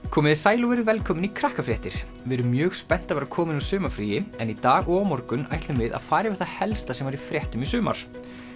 komiði sæl og verið velkomin í við erum mjög spennt að vera komin úr sumarfríi en í dag og á morgun ætlum við að fara yfir það helsta sem var í fréttum í sumar